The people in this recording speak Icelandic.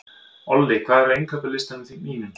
Olli, hvað er á innkaupalistanum mínum?